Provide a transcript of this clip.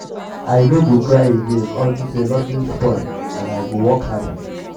i no go cry again unto say nothing spoil and i go work harder.